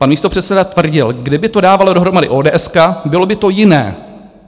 Pan místopředseda tvrdil - kdyby to dávala dohromady ODS, bylo by to jiné.